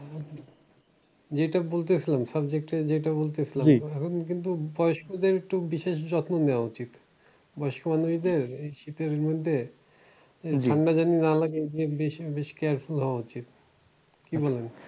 যেইটা বলছি সুন্ সব দিক থেকে যেইটা বলছি সুন্। এখন কিন্তু বয়স্কদের একটু বিশেষ যত্ন নেওয়া উচিত বয়স্ক মানুষদের এই শীতের মধ্যে ঠান্ডা যেন না লাগে বেশ বেশ careful হওয়া উচিত। কি বলেন?